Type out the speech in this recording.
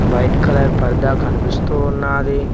White colour పర్దా కనిపిస్తూ ఉన్నాది.